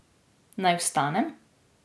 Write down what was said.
Naj vstanem?